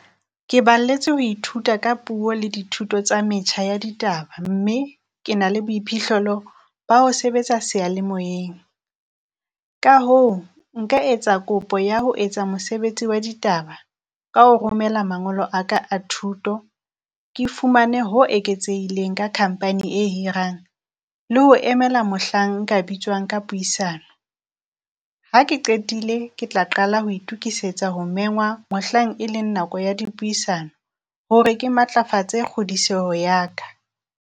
Ke balletswe ho ithuta ka puo le dithuto tsa metjha ya ditaba, mme ke na le boiphihlelo ba ho sebetsa seyalemoyeng. Ka hoo nka etsa kopo ya ho etsa mosebetsi wa ditaba ka ho romela mangolo a ka thuto, ke fumane ho eketsehileng ka company e hirang le ho emela mohlang nka bitswang ka puisano. Ha ke qetile, ke tla qala ho itukisetsa ho mengwa mohlang, e leng nako ya dipuisano hore ke matlafatse kgodiseho ya ka.